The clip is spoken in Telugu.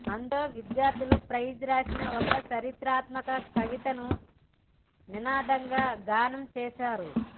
అందులో విద్యార్థులు ఫైజ్ రాసిన ఒక చారిత్రాత్మక కవితను నినాదంగా గానం చేశారు